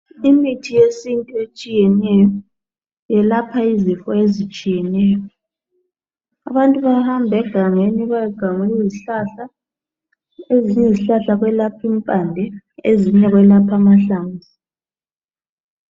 Imithi yesintu etshiyeneyo ilapha izifo ezitshiyeneyo. Abantu bayahamba egangeni bayogamula izihlahla. Ezinye izihlala kwelapha impande, kwezinye kwelapha amahlamvu.